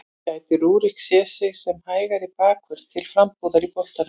Gæti Rúrik séð sig sem hægri bakvörð til frambúðar í boltanum?